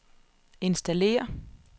installér